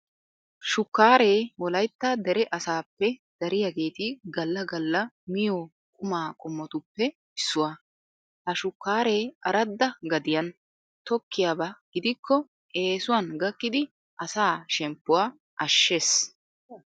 Shukkaaree wolaytta dere asaappe dariyageeti galla galla miyo qumaa qommotuppe issuwa. Ha shukkaaree aradda gadiyan tokkiyaba gidikko eesuwan gakkidi asaa shemppuwa ashshees.